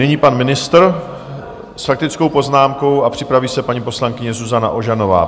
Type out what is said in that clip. Nyní pan ministr s faktickou poznámkou a připraví se paní poslankyně Zuzana Ožanová.